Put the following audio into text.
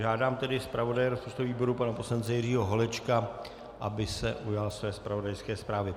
Žádám tedy zpravodaje rozpočtového výboru pana poslance Jiřího Holečka, aby se ujal své zpravodajské zprávy.